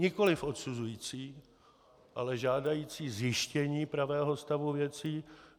Nikoliv odsuzující, ale žádající zjištění pravého stavu věcí.